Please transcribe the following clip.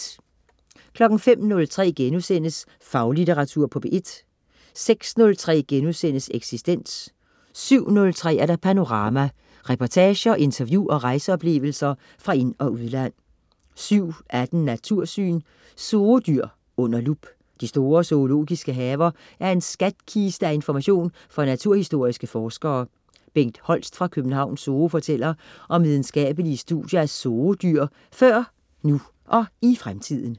05.03 Faglitteratur på P1* 06.03 Eksistens* 07.03 Panorama. Reportager, interview og rejseoplevelser fra ind- og udland 07.18 Natursyn. ZOO-dyr under lup. De store zoologiske haver er en skatkiste af information for naturhistoriske forskere. Bengt Holst fra Københavns Zoo fortæller om videnskabelige studier af Zoo-dyr før, nu og i fremtiden